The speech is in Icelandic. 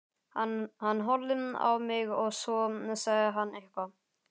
Hann horfði á mig og svo sagði hann eitthvað.